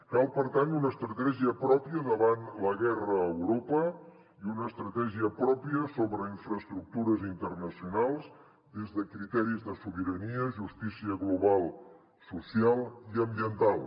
cal per tant una estratègia pròpia davant la guerra a europa i una estratègia pròpia sobre infraestructures internacionals des de criteris de sobirania justícia global social i ambiental